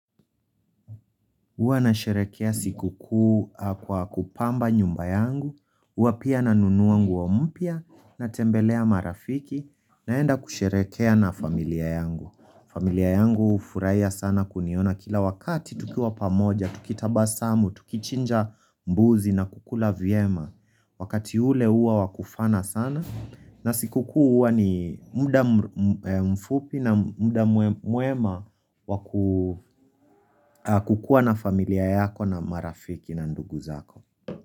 Uwa na sherekea siku kuu kwa kupamba nyumba yangu Uwa pia na nunuangu wa mpya na tembelea marafiki naenda kusherekea na familia yangu familia yangu ufuraiya sana kuniona kila wakati tukiwa pamoja Tukitaba samu, tukichinja mbuzi na kukula viema Wakati ule uwa wakufana sana na siku kuwa ni muda mfupi na muda muema kukuwa na familia yako na marafiki na ndugu zako.